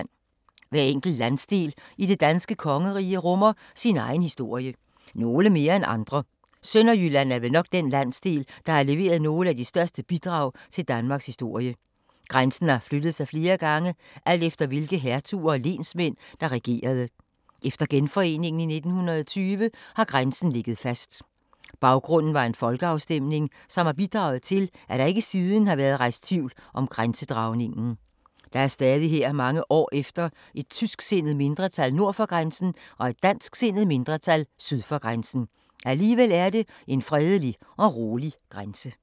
Hver enkelt landsdel i det danske kongerige rummer sin egen historie. Nogle mere end andre. Sønderjylland er vel nok den landsdel, der har leveret nogle af de største bidrag til Danmarks historie. Grænsen har flyttet sig flere gange, alt efter hvilke hertuger og lensmænd der regerede. Efter genforeningen i 1920 har grænsen ligget fast. Baggrunden var en folkeafstemning, som har bidraget til, at der ikke siden har været rejst tvivl om grænsedragningen. Der er stadig her mange år efter et tysksindet mindretal nord for grænsen og et dansksindet mindretal syd for grænsen. Alligevel er det en fredelig og rolig grænse.